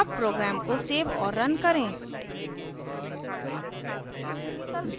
अब program को save और now करें